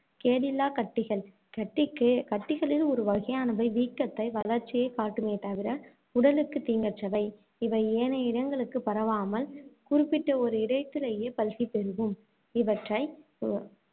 Cadillac கட்டிகள் கட்டிக்கு கட்டிகளில் ஒரு வகையானவை வீக்கத்தை, வளர்ச்சியைக் காட்டுமே தவிர, உடலுக்குத் தீங்கற்றவை. இவை ஏனைய இடங்களுக்குப் பரவாமல், குறிப்பிட்ட ஒரு இடத்திலேயே பல்கிப் பெருகும். இவற்றை அஹ்